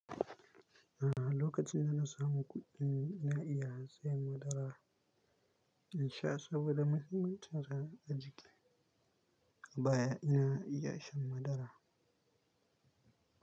A'a, lokacin da na samu kuɗin ina iya siyan madara in sha saboda mahimmancinsa a jiki. Baya ina iya shan madara.